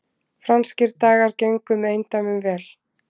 Franskir dagar gengu með eindæmum vel